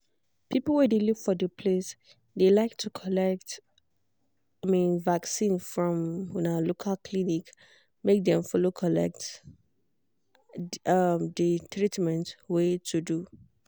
people wey de live for de place de like to collect um vaccin from um local clinic make dem follow collect um de treatment wey to do.